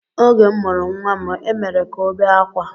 Oge m mụrụ nnwa m, e mere ka ọ bee akwa